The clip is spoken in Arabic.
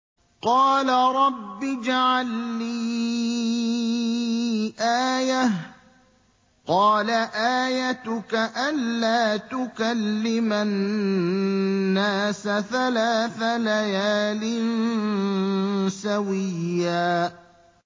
قَالَ رَبِّ اجْعَل لِّي آيَةً ۚ قَالَ آيَتُكَ أَلَّا تُكَلِّمَ النَّاسَ ثَلَاثَ لَيَالٍ سَوِيًّا